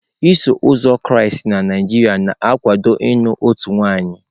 Iso uzọ Kraịst na Naijiria na-akwado naanị otu nwaanyị.